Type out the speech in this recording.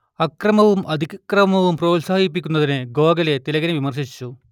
അക്രമവും അതിക്രമവും പ്രോത്സാഹിപ്പിക്കുന്നതിനു ഗോഖലെ തിലകിനെ വിമർശിച്ചു